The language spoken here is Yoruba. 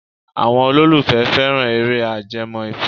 Àwọn olólùfẹ́ fẹ́ran eré ajẹmọ́ ìfẹ́.